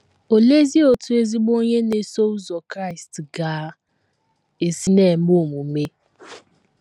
Oleezi otú ezigbo onye na - eso ụzọ Kraịst ga - esi na - eme omume?